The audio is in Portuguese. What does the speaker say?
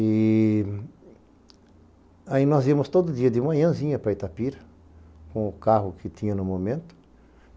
E aí nós íamos todo dia de manhãzinha para Itapira, com o carro que tinha no momento.